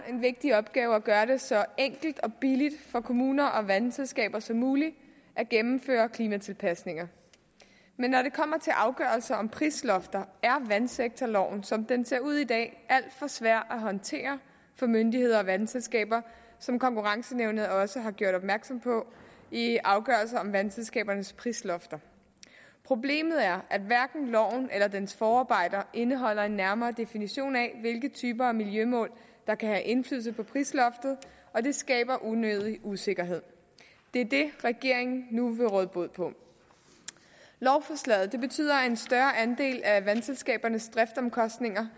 er en vigtig opgave at gøre det så enkelt og billigt for kommuner og vandselskaber som muligt at gennemføre klimatilpasning men når det kommer til afgørelse om prislofter er vandsektorloven som den ser ud i dag alt for svær at håndtere for myndigheder og vandselskaber som konkurrenceankenævnet også har gjort opmærksom på i afgørelser om vandselskabernes prislofter problemet er at hverken loven eller dens forarbejder indeholder en nærmere definition af hvilke typer af miljømål der kan have indflydelse på prisloftet og det skaber unødig usikkerhed det er det regeringen nu vil råde bod på lovforslaget betyder at en større andel af vandselskabernes driftomkostninger